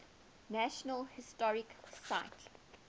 national historic site